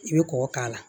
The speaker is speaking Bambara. I bɛ kɔkɔ k'a la